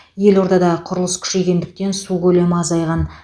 елордада құрылыс күшейгендіктен су көлемі азайған